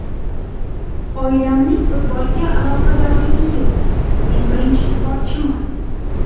Oilamning futbolga aloqadorligi yo‘q, men birinchi sportchiman.